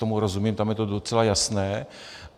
Tomu rozumím, tam je to docela jasné.